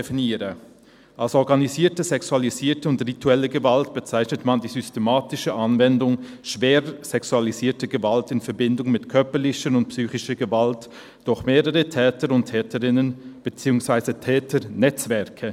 «Als organisierte sexualisierte und rituelle Gewalt bezeichnet man die systematische Anwendung schwerer sexualisierter Gewalt in Verbindung mit körperlicher und psychischer Gewalt durch mehrere Täter und Täterinnen bzw. Täternetzwerke.